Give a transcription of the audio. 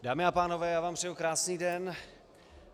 Dámy a pánové, já vám přeji krásný den.